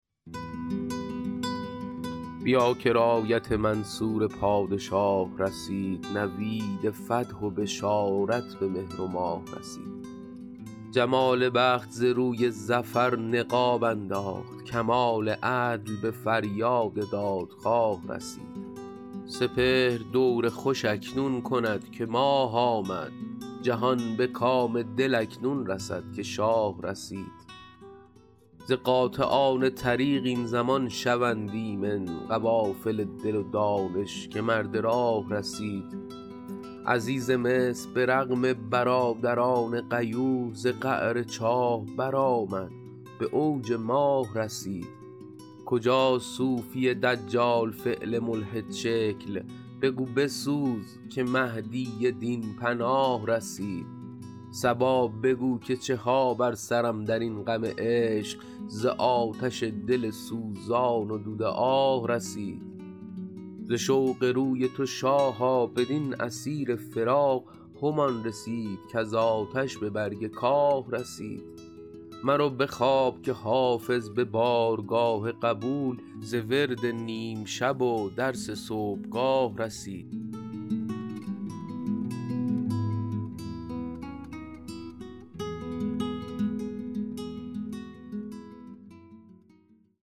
بیا که رایت منصور پادشاه رسید نوید فتح و بشارت به مهر و ماه رسید جمال بخت ز روی ظفر نقاب انداخت کمال عدل به فریاد دادخواه رسید سپهر دور خوش اکنون کند که ماه آمد جهان به کام دل اکنون رسد که شاه رسید ز قاطعان طریق این زمان شوند ایمن قوافل دل و دانش که مرد راه رسید عزیز مصر به رغم برادران غیور ز قعر چاه برآمد به اوج ماه رسید کجاست صوفی دجال فعل ملحدشکل بگو بسوز که مهدی دین پناه رسید صبا بگو که چه ها بر سرم در این غم عشق ز آتش دل سوزان و دود آه رسید ز شوق روی تو شاها بدین اسیر فراق همان رسید کز آتش به برگ کاه رسید مرو به خواب که حافظ به بارگاه قبول ز ورد نیم شب و درس صبحگاه رسید